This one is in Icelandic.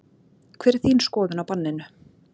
Hver er þín skoðun á banninu?